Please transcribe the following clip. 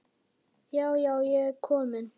Já, já, ég er komin!